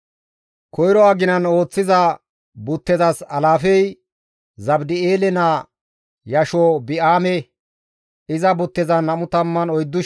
Koyro aginan ooththiza buttezas alaafey Zabdi7eele naa Yashobi7aame; iza buttezan 24,000 asi dees.